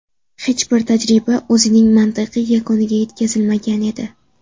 Hech bir tajriba o‘zining mantiqiy yakuniga yetkazilmagan edi.